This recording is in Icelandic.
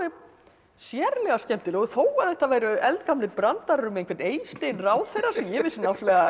sérlega skemmtileg og þó að þetta væru eldgamlir brandarar um einhvern Eystein ráðherra sem ég vissi náttúrulega